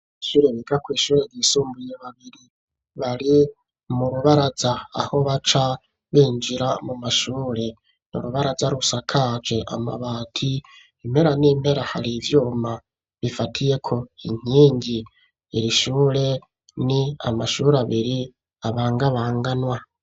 Abanyeshure biga kw'ishure ryisumbuye babiri bari mu rubaraza, aho baca binjira mu mashure. Ni urubaraza rusakaje amabati, impera n'impera hari ivyuma bifatiyeko inkingi. Iri shure ni amashure abiri abangabanganwa.